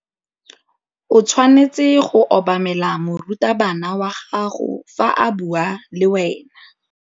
O tshwanetse go obamela morutabana wa gago fa a bua le wena.